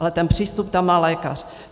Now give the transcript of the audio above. Ale ten přístup tam má lékař.